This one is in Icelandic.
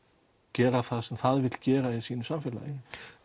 gera það sem það vill gera í sínu samfélagi